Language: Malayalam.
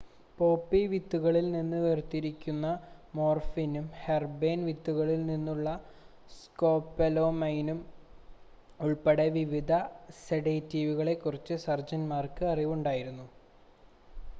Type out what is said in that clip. പോപ്പി വിത്തുകളിൽ നിന്ന് വേർതിരിക്കുന്ന മോർഫിനും ഹെർബേൻ വിത്തുകളിൽ നിന്നുള്ള സ്കോപൊലാമൈനും ഉൾപ്പെടെ വിവിധ സെഡേറ്റീവുകളെ കുറിച്ച് സർജൻന്മാർക്ക് അറിവുണ്ടായിരുന്നു